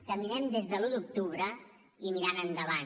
caminem des de l’un d’octubre i mirant endavant